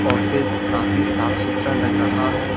Office काफी साफ सुथरा लग रहा है।